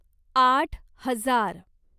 आठ हजार